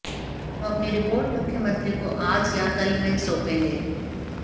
हम अपनी रिपोर्ट मुख्यमंत्री को आज या कल में सौंपेगे